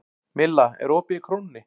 Milla, er opið í Krónunni?